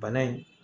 Bana in